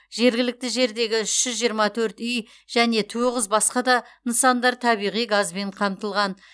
жергілікті жердегі үш жүз жиырма төрт үй және тоғыз басқа да нысандар табиғи газбен қамтылған